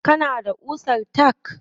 Kana da ƙusar tack?